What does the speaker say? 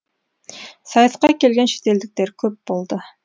сайысқа келген шетелдіктер көп болды